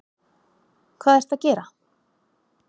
Hvað ertu að gera?